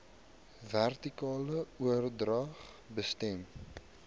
vertikale oordrag besmet